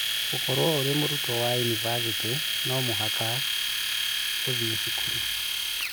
gũkorũo ũrĩ mũrutwo Wa yunivasĩtĩ, no mũhaka thĩĩ cukuru.